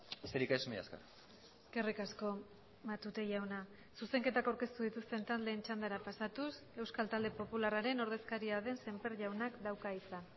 besterik ez mila esker eskerrik asko matute jauna zuzenketak aurkeztu dituzten taldeen txandara pasatuz euskal talde popularraren ordezkaria den semper jaunak dauka hitza